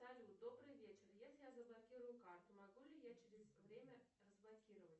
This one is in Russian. салют добрый вечер если я заблокирую карту могу ли я через время разблокировать